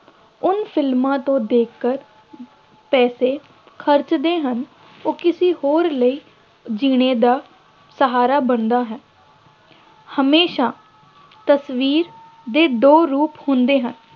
ਉਨ ਫਿਲਮਾਂ ਤੋਂ ਦੇਖ ਕਰ ਪੈਸੇ ਖਰਚਦੇ ਹਨ ਉਹ ਕਿਸੇ ਹੋਰ ਲਈ ਜੀਣੇ ਦਾ ਸਹਾਰਾ ਬਣਦਾ ਹੈ, ਹਮੇਸ਼ਾ ਤਸਵੀਰ ਦੇ ਦੋ ਰੂਪ ਹੁੰਦੇ ਹਨ